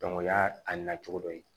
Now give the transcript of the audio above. o y'a a nacogo dɔ ye